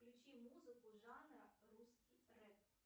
включи музыку жанра русский рэп